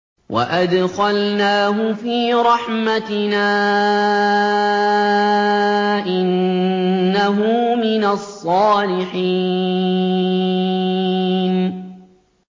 وَأَدْخَلْنَاهُ فِي رَحْمَتِنَا ۖ إِنَّهُ مِنَ الصَّالِحِينَ